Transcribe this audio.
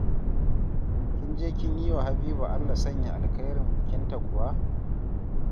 Kin je kin yi wa Habiba Allah sanya alkhairin bikinta kuwa?